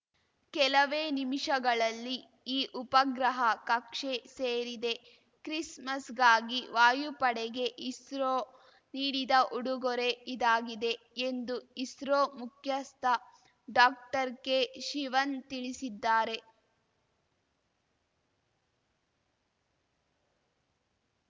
ಕೆಲವೇ ನಿಮಿಷಗಳಲ್ಲಿ ಈ ಉಪಗ್ರಹ ಕಕ್ಷೆ ಸೇರಿದೆ ಕ್ರಿಸ್‌ಮಸ್‌ಗಾಗಿ ವಾಯುಪಡೆಗೆ ಇಸ್ರೋ ನೀಡಿದ ಉಡುಗೊರೆ ಇದಾಗಿದೆ ಎಂದು ಇಸ್ರೋ ಮುಖ್ಯಸ್ಥ ಡಾಕ್ಟರ್ ಕೆ ಶಿವನ್‌ ತಿಳಿಸಿದ್ದಾರೆ